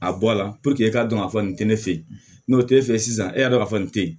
A bɔ a la e k'a dɔn k'a fɔ nin tɛ ne fɛ yen n'o tɛ e fɛ sisan e y'a dɔn k'a fɔ nin tɛ yen